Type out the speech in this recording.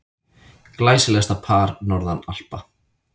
Glæsilegasta par norðan Alpa.